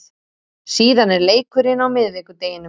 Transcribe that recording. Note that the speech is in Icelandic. Síðan er leikurinn á miðvikudeginum.